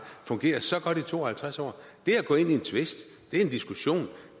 fungeret så godt i to og halvtreds år det at gå ind i en tvist er en diskussion og